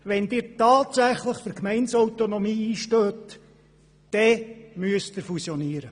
Wenn Sie tatsächlich für Gemeindeautonomie einstehen, dann müssen Sie fusionieren.